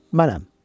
Mənəm.